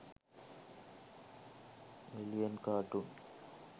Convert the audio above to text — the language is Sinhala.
alien cartoon